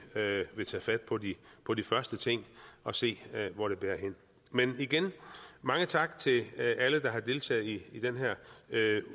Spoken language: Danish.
tage fat på de på de første ting og se hvor det bærer hen men igen mange tak til alle der har deltaget i den her